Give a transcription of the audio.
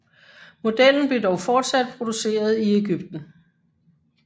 Modellen blev dog fortsat produceret i Egypten